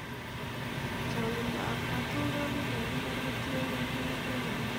Chong'indo ab katoldolik en imbar kotienkei kit neten imbaret